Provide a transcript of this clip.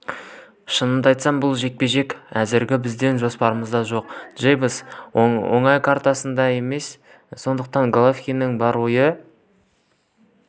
шынымды айтсам бұл жекпе-жек әзірге біздің жоспарымызда жоқ джейкобс оңай қарсылас емес сондықтан головкиннің бар ойы